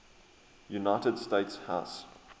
united states house